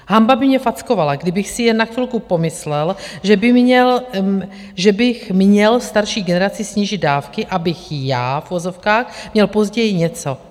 Hanba by mě fackovala, kdybych si jen na chvilku pomyslel, že bych měl starší generaci snížit dávky, abych já, v uvozovkách, měl později něco.